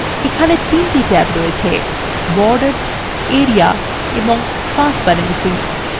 এখানে 3টি ট্যাব আছেborders area এবংtransparency